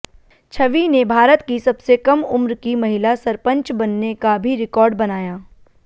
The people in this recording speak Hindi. छवि ने भारत की सबसे कम उम्र की महिला सरपंच बनने का भी रिकॉर्ड बनाया